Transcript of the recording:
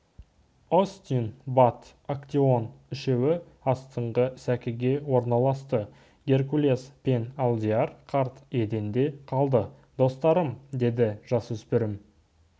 остин бат актеон үшеуі астыңғы сәкіге орналасты геркулес пен алдияр қарт еденде қалды достарым деді жасөспірім